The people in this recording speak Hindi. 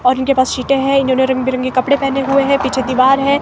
और इनके पास सीटें हैं इन्होंने रंगे बिरंगे कपड़े पहने हुए हैं पिछे दिवार है।